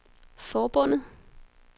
forbundet